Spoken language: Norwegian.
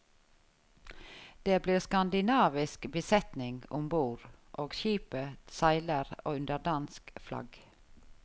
Det blir skandinavisk besetning om bord og skipet seiler under dansk flagg.